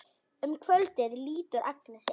Um kvöldið lítur Agnes inn.